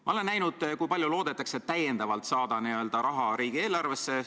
Ma olen näinud, kui palju loodetakse täiendavalt saada raha riigieelarvesse.